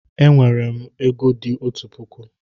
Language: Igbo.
E nwere m ego di otu puku